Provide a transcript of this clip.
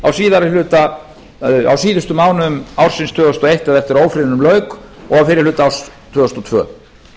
á síðustu mánuðum ársins tvö þúsund og eitt eða eftir að ófriðnum lauk og fyrri hluta árs tvö þúsund og tvö